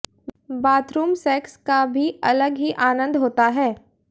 bathroom sex का भी अलग ही आनंद होता है